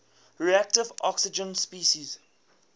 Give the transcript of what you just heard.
reactive oxygen species